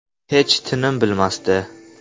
Hech tinim bilmasdi.